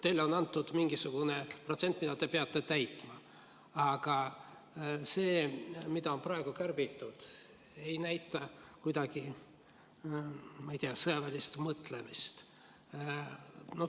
Teile on antud mingisugune protsent, mida te peate täitma, aga see, mida on praegu kärbitud, ei näita kuidagi sõjaväelist mõtlemist.